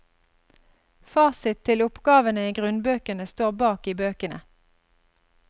Fasit til oppgavene i grunnbøkene står bak i bøkene.